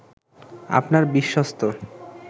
আপনার বিশ্বস্ত